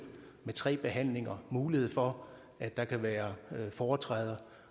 med tre behandlinger mulighed for at der kan være foretræde